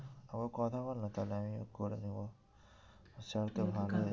তবে কথা বল না তাহলে আমিও করে নেবো ভালোই